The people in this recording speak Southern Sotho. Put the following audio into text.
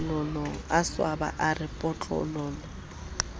swaba a re potlololo ha